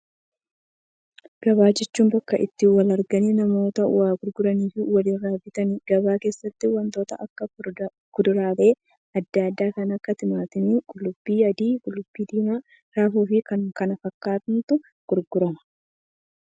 Gabaa jechuun bakka itti wal argaa namoota waa gurguranii fi walirra bitaniiti. Gabaa keessatti waantota akka kuduraalee addaa addaa kan akka timaatima, qullubbii adii, qullubbii diimaa, raafuu fi kanneen kana fakkaatantu gurgurama.